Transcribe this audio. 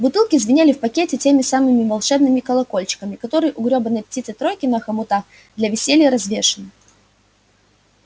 бутылки звенели в пакете теми самыми волшебными колокольчиками которые у грёбаной птицы-тройки на хомутах для веселья развешены